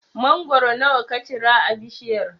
Mangoro nawa ka cira a bishiyar?